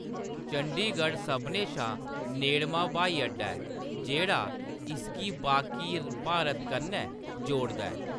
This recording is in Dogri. चंडीगढ़ सभनें शा नेड़मां ब्हाई अड्डा ऐ, जेह्‌‌ड़ा इसगी बाकी भारत कन्नै जोड़दा ऐ।